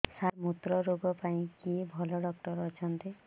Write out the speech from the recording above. ସାର ମୁତ୍ରରୋଗ ପାଇଁ କିଏ ଭଲ ଡକ୍ଟର ଅଛନ୍ତି